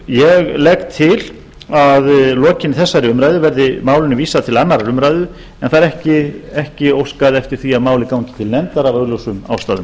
ég legg til að að lokinni þessari umræðu verði málinu vísað til annarrar umræðu en það er ekki óskað eftir því að málið gangi til nefndar af augljósum ástæðum